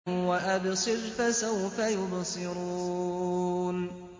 وَأَبْصِرْ فَسَوْفَ يُبْصِرُونَ